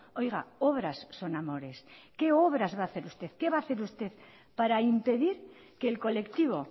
oiga obras son amores qué obras va a hacer usted qué va a hacer usted para impedir que el colectivo